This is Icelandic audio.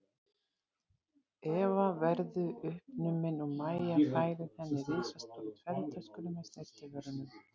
Eva verðu uppnumin og Mæja færir henni risastóru ferðatöskuna með snyrtivörunum.